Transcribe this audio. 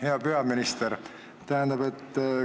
Hea peaminister!